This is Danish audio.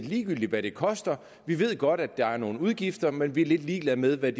ligegyldigt hvad det koster vi ved godt der er nogle udgifter men vi er lidt ligeglade med hvad